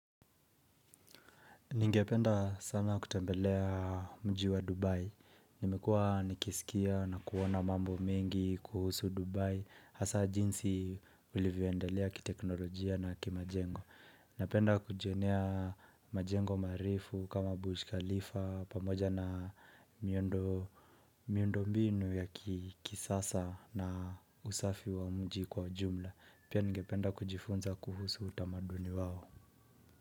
Ningependa sana kutembelea mji wa Dubai. Nimekua nikisikia na kuona mambo mengi kuhusu Dubai. Hasa jinsi ulivyoendelea kiteknolojia na kimajengo. Napenda kujionea majengo marefu kama Burj Khalifa pamoja na miundo mbinu ya kisasa na usafi wa mji kwa jumla. Pia ningependa kujifunza kuhusu utamaduni wao.